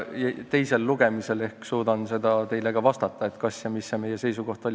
Teisel lugemisel ehk suudan teile ka vastata, mis see meie seisukoht on.